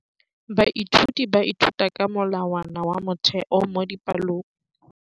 Baithuti ba ithuta ka molawana wa motheo mo dipalong.